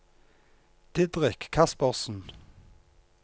Didrik Kaspersen